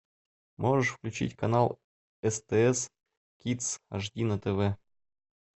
можешь включить канал стс кидс аш ди на тв